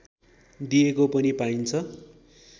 दिएको पनि पाइन्छ